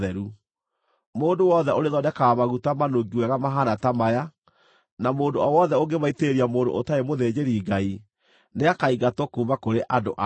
Mũndũ wothe ũrĩthondekaga maguta manungi wega mahaana ta maya, na mũndũ o wothe ũngĩmaitĩrĩria mũndũ ũtarĩ mũthĩnjĩri-Ngai, nĩakaingatwo kuuma kũrĩ andũ ao.’ ”